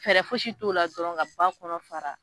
Fɛɛrɛ fosi t'o la dɔrɔn ka ba kɔnɔ fara